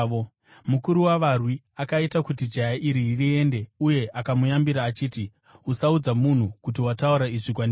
Mukuru wavarwi akaita kuti jaya iri riende uye akamuyambira achiti, “Usaudza munhu kuti wataura izvi kwandiri.”